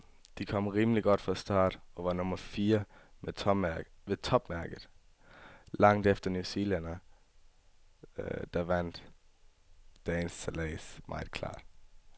Jeg kom rimelig godt fra start, og var nummer fire med topmærket, langt efter en newzealænder, der vandt dagens sejlads meget klart.